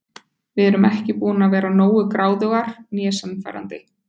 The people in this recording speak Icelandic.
Við erum ekki búnar að vera nógu gráðugar né sannfærandi.